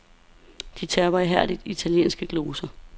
De terper ihærdigt italienske gloser.